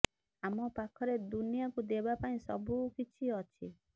ଆମ ପାଖରେ ଦୁନିଆକୁ ଦେବା ପାଇଁ ସବୁ କିଛି ଅଛି